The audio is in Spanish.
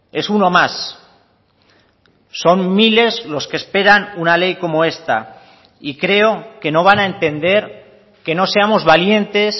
es uno más son miles los que esperan una ley como esta y creo que no van a entender que no seamos valientes